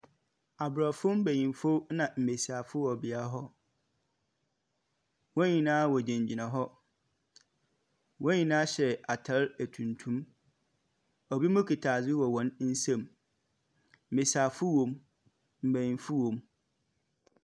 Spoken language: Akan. Abrofo nbenyinifo na mbesiafo wɔ bea hɔ, wɔn nyinaa ɔgyina gyina hɔ, wɔn nyinaa hyɛ ataade tuntum. Obi mo kuta ade wɔn nsam, mmesiafo wɔm, nbenyinifo wɔm.